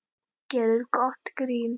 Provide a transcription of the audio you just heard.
Gerir gott grín.